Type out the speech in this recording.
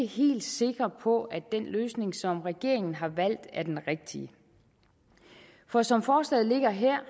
helt sikre på at den løsning som regeringen har valgt er den rigtige for som forslaget ligger her